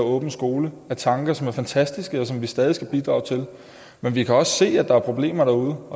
åben skole er tanker som er fantastiske og som vi stadig skal bidrage til men vi kan også se at der er problemer derude